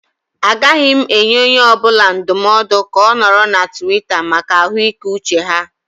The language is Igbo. Agaghị m enye onye ọ bụla ndụmọdụ ka ọ nọrọ na Tiwita maka ahụike uche ha.